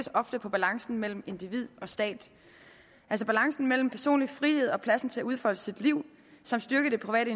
ofte på balancen mellem individ og stat altså balancen mellem personlige frihed og plads til at udfolde sit liv samt styrkelsen af det